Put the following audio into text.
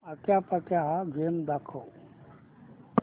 आट्यापाट्या हा गेम दाखव